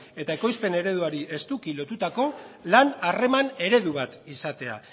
eta ekoizpen ereduari estuki lotutako lan harreman eredu bat izatea